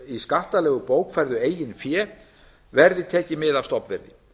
í skattalegu bókfærðu eigin fé verði tekið mið af stofnverði